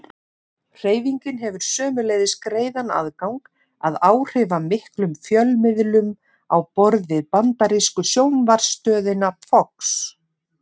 Hreyfingin hefur sömuleiðis greiðan aðgang að áhrifamiklum fjölmiðlum á borð við bandarísku sjónvarpsstöðina Fox.